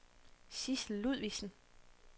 Sidsel Ludvigsen